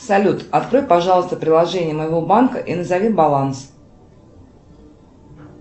салют открой пожалуйста приложение моего банка и назови баланс